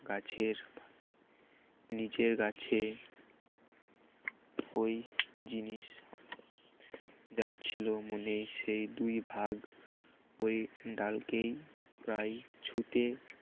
গাছের নিজের গাছে ওই জিনিস যাচ্ছিল মনে সেই দুই ভাগ ওই ্ডালকেই প্রায় ছুটে